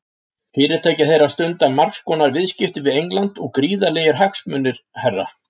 Fyrirtæki þeirra stundar margs konar viðskipti við England, gríðarlegir hagsmunir, herra.